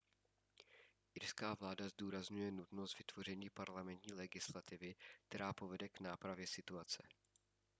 irská vláda zdůrazňuje nutnost vytvoření parlamentní legislativy která povede k nápravě situace